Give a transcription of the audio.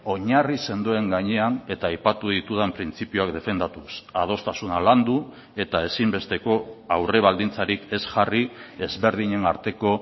oinarri sendoen gainean eta aipatu ditudan printzipioak defendatuz adostasuna landu eta ezinbesteko aurrebaldintzarik ez jarri ezberdinen arteko